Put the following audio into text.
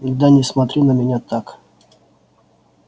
да не смотри на меня так